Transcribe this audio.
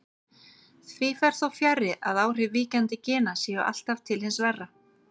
Því fer þó fjarri að áhrif víkjandi gena séu alltaf til hins verra.